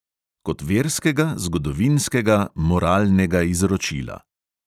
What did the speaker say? Kot verskega, zgodovinskega, moralnega izročila.